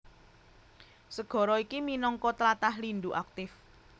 Segara iki minangka tlatah lindhu aktif